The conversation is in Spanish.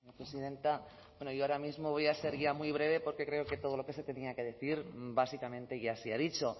presidenta yo ahora mismo voy a ser ya muy breve porque creo que todo lo que se tenía que decir básicamente ya se ha dicho